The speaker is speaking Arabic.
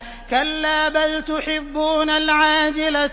كَلَّا بَلْ تُحِبُّونَ الْعَاجِلَةَ